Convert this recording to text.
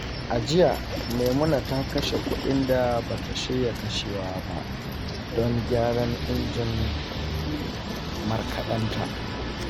A jiya, Maimuna ta kashe kuɗin da ba ta shirya kashewa ba don gyaran injin markaɗenta.